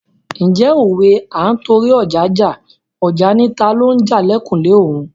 Ǹjẹ́ òwe "À ń torí ọja jà, ọja ni talo ń jà l'ẹ̀kùlé òun "?